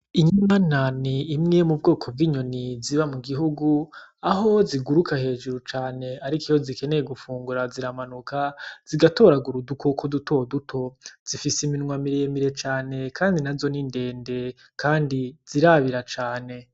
Inyanani imwe mu bwoko bw'inyoni ziba mu gihugu, aho ziguruka hejuru cane, ariko iyo zikeneye gufungura ziramanuka zigatoragura udukoko dutoduto, zifise iminwa miremire cane kandi nazo ni ndende kandi zirabira cane.